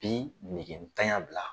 Bi negetanya bila